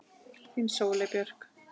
Þín Sóley Björk